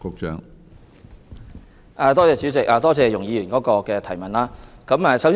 主席，多謝容議員提出的補充質詢。